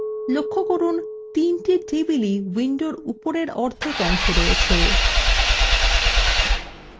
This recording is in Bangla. লক্ষ্য করুন তিনটি টেবিলই window উপরের অর্ধেক অংশে রয়েছে